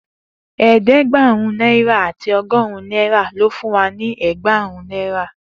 Eedegberun naira ati ọgọrun naira lo fún wa ni ẹẹgbarun naira.